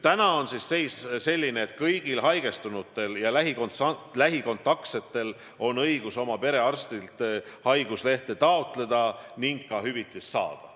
Täna on seis selline, et kõigil haigestunutel ja nendega lähikontaktis olijatel on õigus oma perearstilt haiguslehte taotleda ning ka hüvitist saada.